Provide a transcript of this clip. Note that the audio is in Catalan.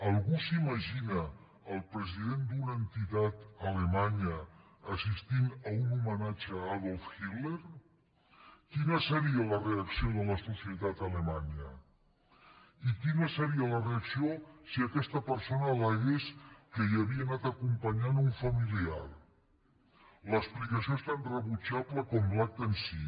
algú s’imagina el president d’una entitat alemanya assistint a un homenatge a adolf hitler quina seria la reacció de la societat alemanya i quina seria la reacció si aquesta persona alacompanyant un familiar l’explicació és tan rebutjable com l’acte en si